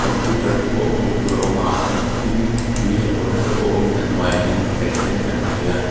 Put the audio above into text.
computer te pawh hmuh tur a awm a tin tui hawrh haw na te pawh awmin a hnuaiah hian bucket sen kan hmu thei a.